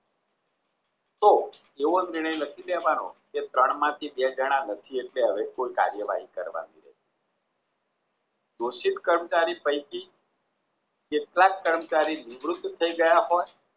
તો એવો નિર્ણય લખી દેવાનો કે ત્રણ માંથી બે જણા નથી એટલે હવે કોઈ કાર્યવાહી કરવાની ઘોષિત કર્મચારી પૈકી કેટલાક કર્મચારી નિવૃત થઈ ગયા હોય